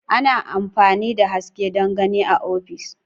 Ana amfani da haske don gani a ofis.